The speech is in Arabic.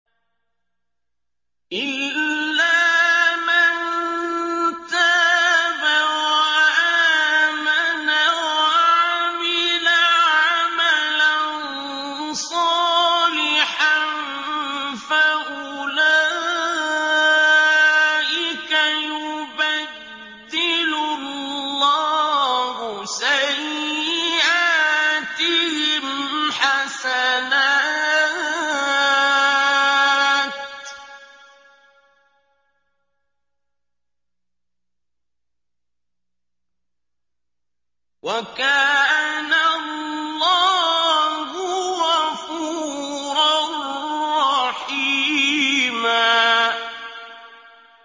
إِلَّا مَن تَابَ وَآمَنَ وَعَمِلَ عَمَلًا صَالِحًا فَأُولَٰئِكَ يُبَدِّلُ اللَّهُ سَيِّئَاتِهِمْ حَسَنَاتٍ ۗ وَكَانَ اللَّهُ غَفُورًا رَّحِيمًا